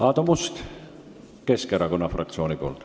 Aadu Must Keskerakonna fraktsiooni nimel.